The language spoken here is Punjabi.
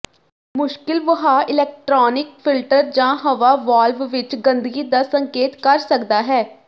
ਮੁਸ਼ਕਿਲ ਵਹਾਅ ਇਲੈਕਟ੍ਰਾਨਿਕ ਫਿਲਟਰ ਜਾਂ ਹਵਾ ਵਾਲਵ ਵਿਚ ਗੰਦਗੀ ਦਾ ਸੰਕੇਤ ਕਰ ਸਕਦਾ ਹੈ